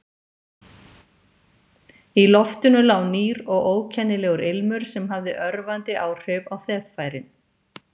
Í loftinu lá nýr og ókennilegur ilmur sem hafði örvandi áhrif á þeffærin.